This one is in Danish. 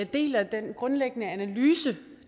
deler den grundlæggende analyse